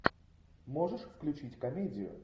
можешь включить комедию